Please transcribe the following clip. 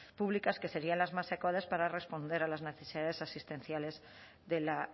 públicas que serían las más adecuadas para responder a las necesidades asistenciales de la